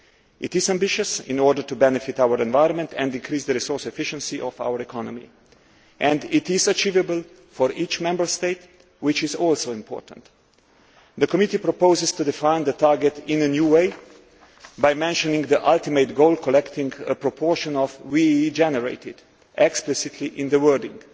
It is ambitious in order to benefit our environment and increase the resource efficiency of our economy, and it is achievable for each Member State, which is also important. The committee proposes to define the target in a new way by mentioning the ultimate goal collecting a proportion of the WEEE generated explicitly in the wording.